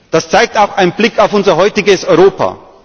Das zeigt auch ein Blick auf unser heutiges Europa.